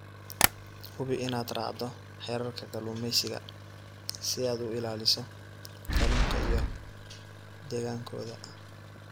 Hubi inaad raacdo xeerarka kalluumeysiga si aad u ilaaliso kalluunka iyo deegaankooda.